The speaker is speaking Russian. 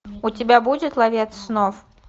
у тебя будет ловец снов